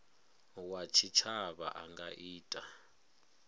wa tshitshavha a nga ita